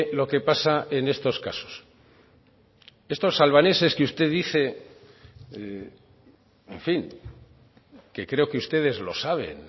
lo que pasa en estos casos estos albaneses que usted dice en fin que creo que ustedes lo saben